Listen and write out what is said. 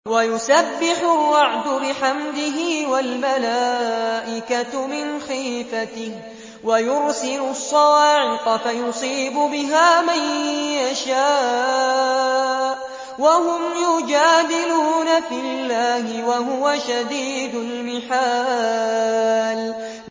وَيُسَبِّحُ الرَّعْدُ بِحَمْدِهِ وَالْمَلَائِكَةُ مِنْ خِيفَتِهِ وَيُرْسِلُ الصَّوَاعِقَ فَيُصِيبُ بِهَا مَن يَشَاءُ وَهُمْ يُجَادِلُونَ فِي اللَّهِ وَهُوَ شَدِيدُ الْمِحَالِ